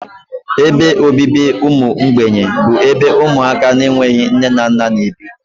Ebe obibi ụmụ mgbei bụ ebe ụmụaka na-enweghị nne na nna n'ebi